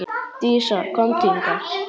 Dísa, komdu hingað!